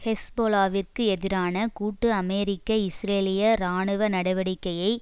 ஹெஸ்பொலாவிற்கு எதிரான கூட்டு அமெரிக்கஇஸ்ரேலிய இராணுவ நடவடிக்கையை